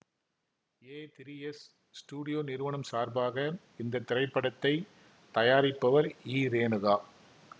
ஏ three S studio நிறுவனம் சார்பாக இந்த திரைப்படத்தை தயாரிப்பவர் ஈ ரேணுகா